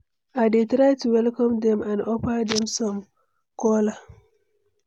i dey try to welcome dem and offer dem some kola.